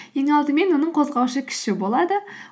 ең алдымен оның қозғаушы күші болады